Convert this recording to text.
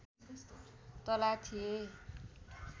तल्ला थिए